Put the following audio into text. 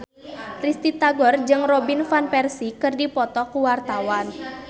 Risty Tagor jeung Robin Van Persie keur dipoto ku wartawan